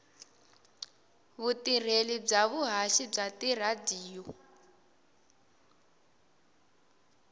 vutirheli bya vuhaxi bya tiradiyo